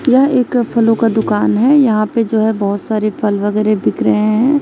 यह एक फलों का दुकान है यहाँ पे जो है बहोत सारे फल वगैरा बिक रहे हैं।